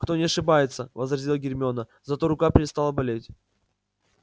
кто не ошибается возразила гермиона зато рука перестала болеть